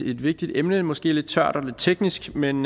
et vigtigt emne måske lidt tørt og lidt teknisk men